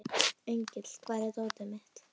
Engill, hvar er dótið mitt?